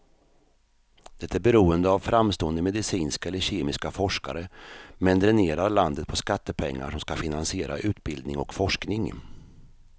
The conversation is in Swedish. Det är beroende av framstående medicinska eller kemiska forskare, men dränerar landet på skattepengar som ska finansiera utbildning och forskning.